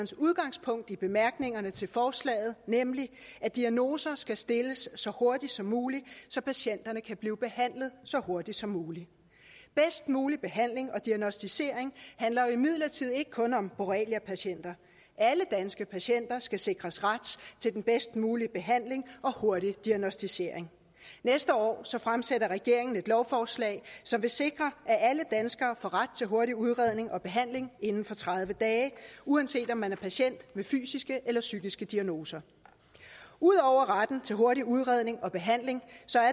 udgangspunkt i bemærkningerne til forslaget nemlig at diagnoser skal stilles så hurtigt som muligt så patienterne kan blive behandlet så hurtigt som muligt bedst mulig behandling og diagnosticering handler imidlertid ikke kun om borreliapatienter alle danske patienter skal sikres ret til den bedst mulige behandling og hurtig diagnosticering næste år fremsætter regeringen et lovforslag som vil sikre at alle danskere får ret til hurtig udredning og behandling inden for tredive dage uanset om man er patient med fysiske eller psykiske diagnoser ud over retten til hurtig udredning og behandling